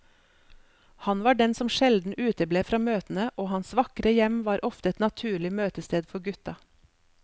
Han var den som sjelden uteble fra møtene, og hans vakre hjem var ofte et naturlig møtested for gutta.